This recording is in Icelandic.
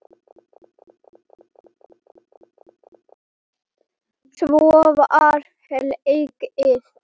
Svo var hlegið.